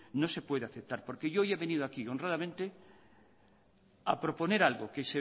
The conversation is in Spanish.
no se puede aceptar porque yo hoy he venido aquí honradamente a proponer algo que